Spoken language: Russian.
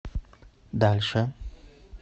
дальше